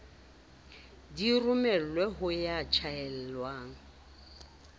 di romelwe ho ya tjhaelwa